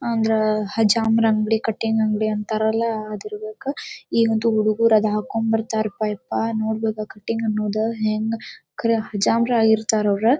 ಅಂದ್ರ ಹಜಾಮನ್ ಅಂಗಡಿ ಕಟ್ಟಿಂಗ್ ಅಂಗಡಿ ಅಂತಾರಲ್ಲ ಅದಿರಬೇಕ ಈಗಂತೂ ಹುಡುಗ್ರು ಅದು ಹಾಕೊಂಡ್ ಬರ್ತಾರಪ್ಪ ಯಪ್ಪಾ ನೋಡ್ಬೇಕು ಆ ಕಟ್ಟಿಂಗ್ ಅನ್ನೋದು ಕರೇ ಹಜಾಮರ ಆಗಿರ್ತಾರ್ ಅವ್ರ.